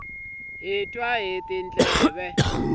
hi twa hi tindleve